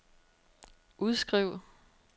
udskriv